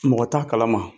Mɔgɔ t'a kalama